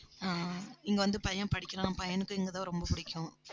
ஆஹ் இங்க வந்து பையன் படிக்கிறான். பையனுக்கு இங்கதான் ரொம்ப பிடிக்கும்